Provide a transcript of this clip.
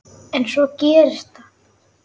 En svo gerist það.